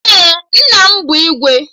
Ee, nna m bụ Igwe